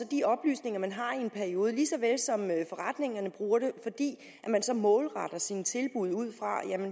de oplysninger man har i en periode lige så vel som forretningerne bruger det fordi man så målretter sine tilbud for